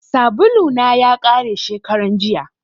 Sabulu na ya kare shekaran jiya